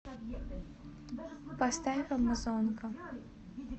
поставь амазонка